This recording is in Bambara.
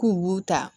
K'u b'u ta